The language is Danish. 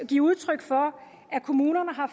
give udtryk for at kommunerne har